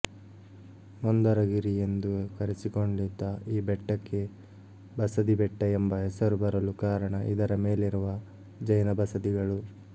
ಮಂದರಗಿರಿ ಎಂದು ಕರೆಸಿಕೊಂಡಿದ್ದ ಈ ಬೆಟ್ಟಕ್ಕೆ ಬಸದಿ ಬೆಟ್ಟ ಎಂಬ ಹೆಸರು ಬರಲು ಕಾರಣ ಇದರ ಮೇಲಿರುವ ಜೈನ ಬಸದಿಗಳು